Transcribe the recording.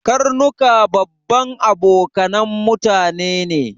Karnuka babban abokanan mutane ne